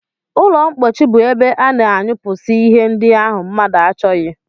Ụlọmkpochi bụ ebe a na-anyụpụsị ihe ndị ahụ mmadụ achọghị